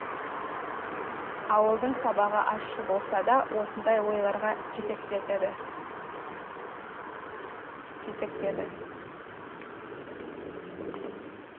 ауылдың сабағы ащы болса да осындай ойларға жетектеді